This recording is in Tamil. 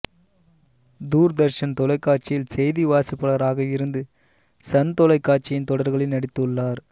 தூர்தர்ஷன் தொலைக்காட்சியில் செய்தி வாசிப்பாளராக இருந்து சன் தொலைக்காட்சியின் தொடர்களில் நடித்துள்ளார்